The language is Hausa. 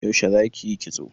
Yaushe zaki yi kitso?